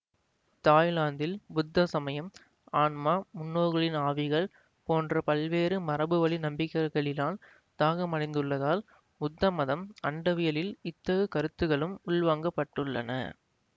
தாய்லாந்தில் புத்த சமயம் ஆன்மா முன்னோர்களின் ஆவிகள் போன்ற பல்வேறு மரபுவழி நம்பிக்கைகளினால் தாகமடைந்துள்ளதால் புத்தமத அண்டவியலில் இத்தகுக் கருத்துகளும் உள்வாங்கப்பட்டுள்ளன